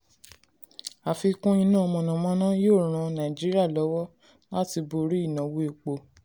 àfikún iná mànàmáná yóò ràn nàìjíríà lọ́wọ́ láti borí ìnáwó epo.